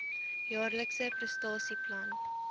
jaarlikse prestasie plan